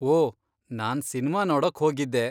ಓ, ನಾನ್ ಸಿನ್ಮಾ ನೋಡಕ್ಹೋಗಿದ್ದೆ.